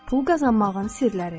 Pul qazanmağın sirləri.